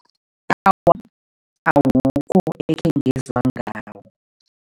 Awukho ekhe ngezwa ngawo.